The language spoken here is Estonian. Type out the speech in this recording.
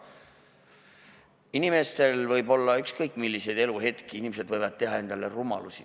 Inimestel võib olla ükskõik milliseid eluhetki, inimesed võivad teha rumalusi.